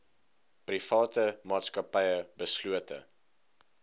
private maatskappye beslote